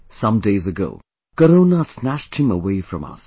Some days ago, Corona snatched him away from us